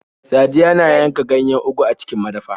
Sadiyya na yanka ganyen Ugu a cikin madafa.